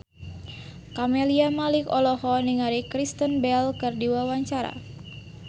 Camelia Malik olohok ningali Kristen Bell keur diwawancara